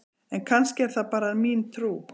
en kannski er það bara mín trú!